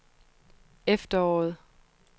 efteråret